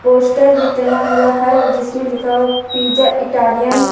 Poster भी टंगा हुआ है जिसमे लिखा हुआ पिज़्ज़ा इटालियन ।